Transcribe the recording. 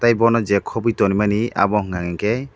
tei boni je koboi tongrimani abo hingka hingke.